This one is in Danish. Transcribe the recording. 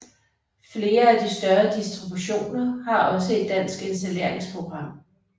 Flere af de større distributioner har også et dansk installeringsprogram